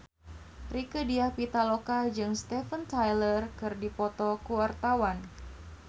Rieke Diah Pitaloka jeung Steven Tyler keur dipoto ku wartawan